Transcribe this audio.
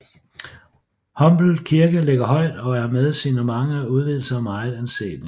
Humble Kirke ligger højt og er med sine mange udvidelser meget anselig